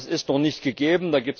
Das ist noch nicht gegeben.